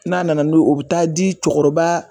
N'a nana o bi taa di cɛkɔrɔba.